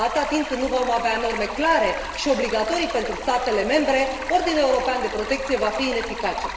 Atâta timp cât nu vom avea norme clare și obligatorii pentru statele membre, ordinul european de protecție va fi ineficace.